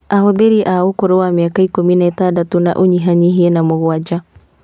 Ahũthĩri a ũkũrũ wa mĩaka ikũmi na ĩtandatũ na ũnyihanyihie na mũgwanja